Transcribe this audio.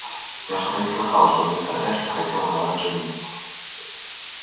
я что-то не слыхала чтоб мистер эшли хотел на вас жениться